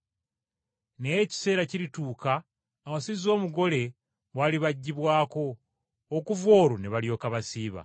Naye ekiseera kirituuka awasizza omugole bw’alibaggibwako; okuva olwo ne balyoka basiiba.